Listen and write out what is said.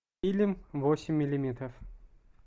фильм восемь миллиметров